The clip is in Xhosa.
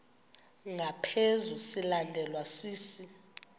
ngaphezu silandelwa sisi